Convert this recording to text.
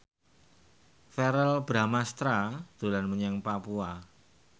Verrell Bramastra dolan menyang Papua